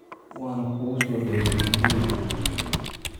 Waanu kugu soo dhawaynay guriga